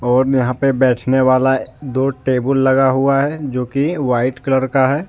यहां पर बैठने वाला दो टेबल लगा हुआ है जो कि व्हाइट कलर का है।